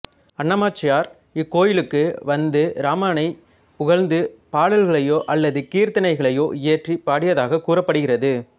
அன்னமாச்சாரியார் இக்கோயிலுக்கு வந்து இராமனைப் புகழ்ந்து பாடல்களையோ அல்லது கீர்த்தனைகளையோ இயற்றி பாடியதாகக் கூறப்படுகிறது